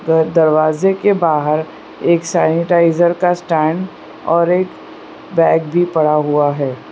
The द दरवाजे के बाहर एक सैनिटाइजर का स्टैंड और एक बैग भी पड़ा हुआ है।